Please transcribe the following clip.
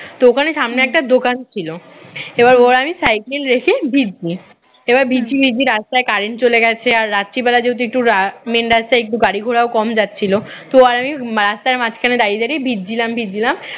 তো ওখানে সামনে একটা দোকান ছিল এবার ও আর আমি সাইকেল রেখে ভিজছি এবার ভিজছি ভিজছি রাস্তায় current চলে গেছে আর রাত্রি বেলায় একটু রাত main রাস্তায় একটু গাড়ি ঘোড়াও কম যাচ্ছিল ও আর আমি রাস্তার মাঝখানে দাঁড়িয়ে দাঁড়িয়ে ভিজছিলাম ভিজছিলাম